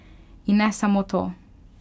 In ne samo to!